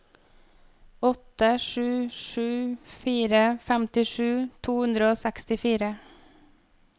åtte sju sju fire femtisju to hundre og sekstifire